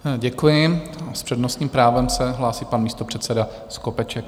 Děkuji a s přednostním právem se hlásí pan místopředseda Skopeček.